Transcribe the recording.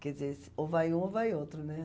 Quer dizer, ou vai um ou vai outro, né?